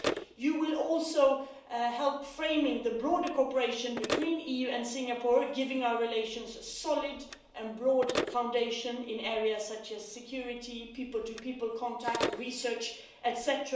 You will also help to frame the broader cooperation between the EU and Singapore, giving our relations a solid and broad foundation in areas such as security, people-to-people contact, research